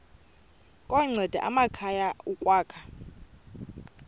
kunceda amakhaya ukwakha